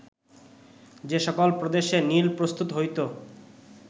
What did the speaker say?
যে সকল প্রদেশে নীল প্রস্তুত হইত